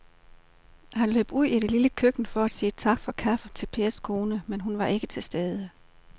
Han løb ud i det lille køkken for at sige tak for kaffe til Pers kone, men hun var ikke til at se.